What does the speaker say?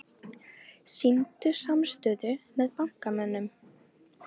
Sýndu samstöðu með bankamönnum